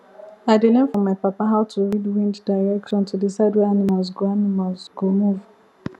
i learn from my papa how to read wind direction to decide where animals go animals go move